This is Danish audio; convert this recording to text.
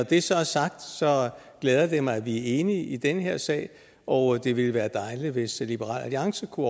det så er sagt glæder det mig at vi er enige i den her sag og det ville være dejligt hvis liberal alliance kunne